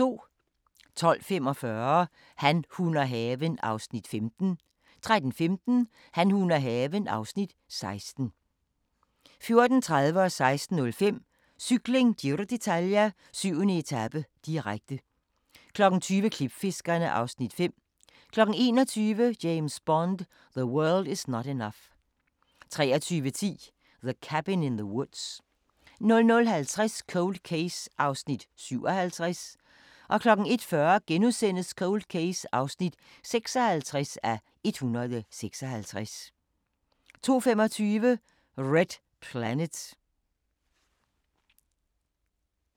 12:45: Han, hun og haven (Afs. 15) 13:15: Han, hun og haven (Afs. 16) 14:30: Cykling: Giro d'Italia - 7. etape, direkte 16:05: Cykling: Giro d'Italia - 7. etape, direkte 20:00: Klipfiskerne (Afs. 5) 21:00: James Bond: The World Is Not Enough 23:10: The Cabin in the Woods 00:50: Cold Case (57:156) 01:40: Cold Case (56:156)* 02:25: Red Planet